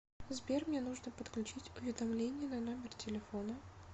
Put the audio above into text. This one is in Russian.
сбер мне нужно подключить уведомление на номер телефона